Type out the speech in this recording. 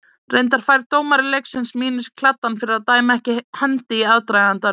Reyndar fær dómari leiksins mínus í kladdann fyrir að dæma ekki hendi í aðdragandanum.